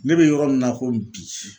Ne bɛ yɔrɔ min na komi bi.